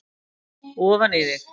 ofan í þig.